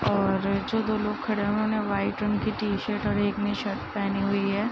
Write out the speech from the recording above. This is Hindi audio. और जो दो लोग खड़े हैं उन्होंने वाइट रंग की टी-शर्ट और एक ने शर्ट पेहनी हुई है।